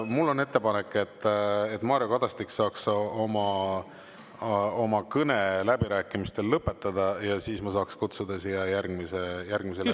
Mul on ettepanek, et Mario Kadastik saaks oma kõne läbirääkimistel lõpetada ja siis ma saaks kutsuda siia järgmise läbirääkija.